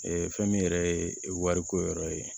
fɛn min yɛrɛ ye wariko yɔrɔ ye